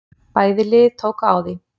Bæði lið tóku á því.